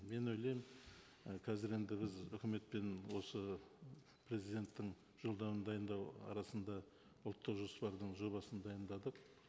мен ойлаймын і қазір енді біз өкіметпен осы президенттің жолдауын дайындау арасында ұлттық жоспардың жобасын дайындадық